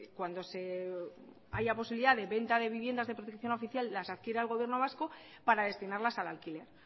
cuando se haya posibilidad de venta de viviendas de protección oficial las adquiera el gobierno vasco para destinarlas al alquiler